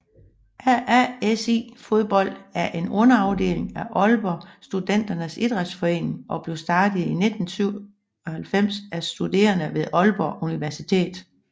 AASI Fodbold er en underafdeling af Aalborg Studenternes Idrætsforening og blev startet i 1997 af studerende ved Aalborg Universitet